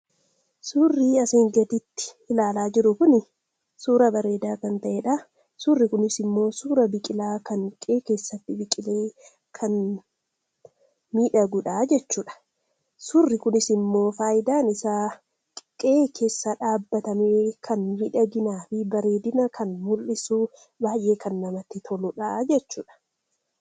Suurri asiin gadiitti ilaalaa jirru kun, suuraa bareedaa kan ta'eedha. Suurri kunis immoo suuraa biqilaa kan qe'ee keessatti miidhaguudha jechuudha. Suurri kunis immoo faayidaan isaa qe'ee keessa dhaabamee miidhaginaa fi bareedina mul'isuuf baay'ee kan namatti toluudha jechuudha.